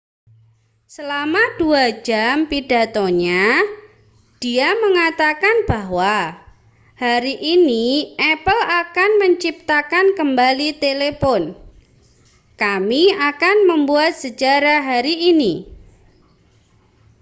"selama 2 jam pidatonya dia menyatakan bahwa hari ini apple akan menciptakan kembali telepon kami akan membuat sejarah hari ini".